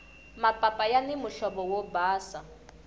mapapa yani muhlovo wo basa